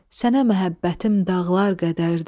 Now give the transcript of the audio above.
Sənə məhəbbətim dağlar qədərdir.